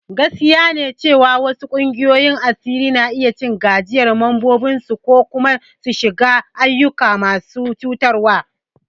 Gaskiya ne cewa wasu ƙungiyoyin asiri na iya cin gajiyar membobinsu ko kuma su shiga ayyuka masu cutarwa.